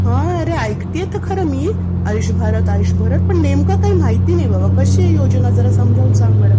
हां अरे ऐकतिये तर खरं मी, पण नेमकं काही माहित नाही. कशी आहे आयुष्य भारत योजना जरा समजावून सांग बरं!